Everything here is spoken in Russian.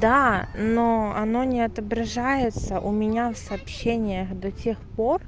да но оно не отображается у меня в сообщениях до тех пор